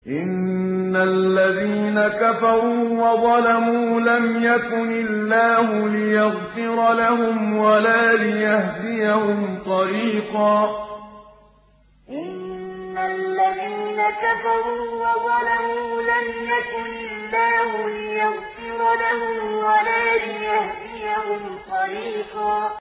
إِنَّ الَّذِينَ كَفَرُوا وَظَلَمُوا لَمْ يَكُنِ اللَّهُ لِيَغْفِرَ لَهُمْ وَلَا لِيَهْدِيَهُمْ طَرِيقًا إِنَّ الَّذِينَ كَفَرُوا وَظَلَمُوا لَمْ يَكُنِ اللَّهُ لِيَغْفِرَ لَهُمْ وَلَا لِيَهْدِيَهُمْ طَرِيقًا